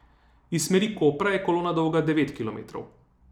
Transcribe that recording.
Iz smeri Kopra je kolona dolga devet kilometrov.